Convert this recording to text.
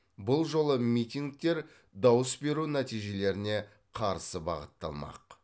бұл жолы митингтер дауыс беру нәтижелеріне қарсы бағытталмақ